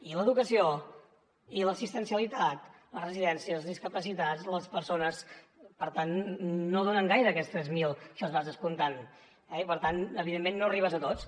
i l’educació i l’assistencialitat les residències els discapacitats les persones per tant no donen gaire aquests tres mil si els vas descomptant eh i per tant evidentment no arribes a tots